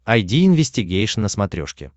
айди инвестигейшн на смотрешке